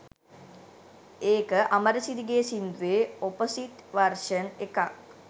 ඒක අමරසිරි ගෙ සින්දුවෙ ඔපොසිට් වර්ෂන් එක